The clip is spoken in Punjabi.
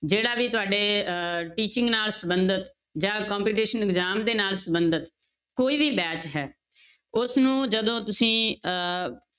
ਜਿਹੜਾ ਵੀ ਤੁਹਾਡੇ ਅਹ teaching ਨਾਲ ਸੰਬੰਧਤ ਜਾਂ competition exam ਦੇ ਨਾਲ ਸੰਬੰਧਿਤ ਕੋਈ ਵੀ batch ਹੈ ਉਸਨੂੰ ਜਦੋਂ ਤੁਸੀਂ ਅਹ